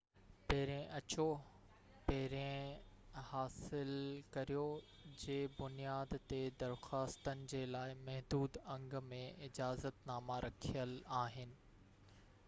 پهرين اچو پهرين حاصل ڪريو جي بنياد تي درخواستن جي لاءِ محدود انگ ۾ اجازت ناما رکيل آهن